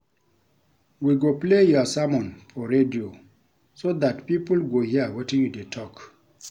We go play your sermon for radio so dat people go hear wetin you dey talk